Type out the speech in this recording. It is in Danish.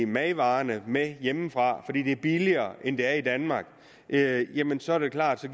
madvarerne med hjemmefra fordi de er billigere end de er i danmark jamen så er det klart